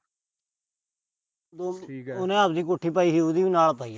ਉਹਨੇ ਆਪਣੀ ਕੋਠੀ ਪਾਈ ਸੀ, ਉਹਦੀ ਵੀ ਨਾਲ ਪਾਈ ਆ